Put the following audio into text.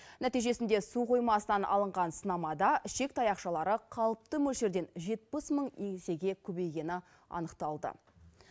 нәтижесінде су қоймасынан алынған сынамада ішек таяқшалары қалыпты мөлшерден жетпіс мың есеге көбейгені анықталды